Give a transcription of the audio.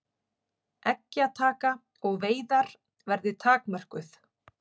Eggjataka og veiðar verði takmörkuð